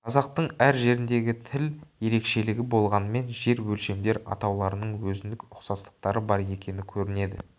қазақтың әр жеріндегі тіл ерекшелігі болғанмен жер өлшемдер атауларының өзіндік ұқсастықтары бар екені көрінеді